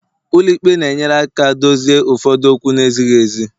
ụlọ ikpe na-enyere aka dozie ụfọdụ okwu na-ezighị ezi